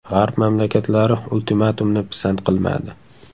G‘arb mamlakatlari ultimatumni pisand qilmadi.